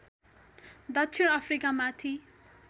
दक्षिण अफ्रिकामाथि